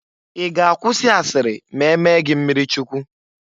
Ị ga-akwụsị asiri ma e mee gị mmirichukwu?